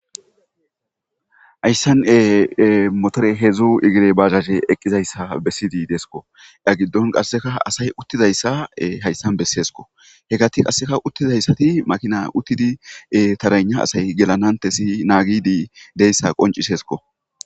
Hayssan motore hedzdzu igire bahashe eqqizayssa bessiydi deesko ya giddon qasseka asay uttizayssa hayssan besseesko he gati qasseka uttizayssati makina uttidi tarana asay gelanantesi naagidi deyssa qoncisesko.